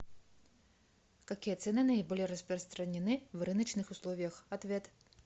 какие цены наиболее распространены в рыночных условиях ответ